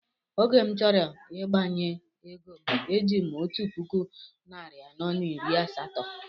Oge m chọrọ ịgbanwe égóm e jim otu puku narị anọ na iri asatọ